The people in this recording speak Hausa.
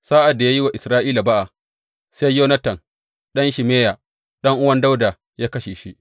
Sa’ad da ya yi wa Isra’ila ba’a, sai Yonatan ɗan Shimeya, ɗan’uwan Dawuda ya kashe shi.